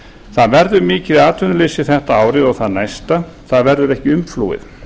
það verður mikið atvinnuleysi þetta árið og það næsta það verður ekki umflúið